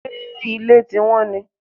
Ṣé ilẹ̀ ti wọ́n ni?